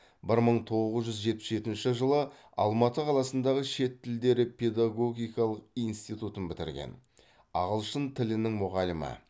бір мың тоғыз жүз жетпіс жетінші жылы алматы қаласындағы шет тілдері педогогикалық институтын бітірген ағылшын тілінің мұғалімі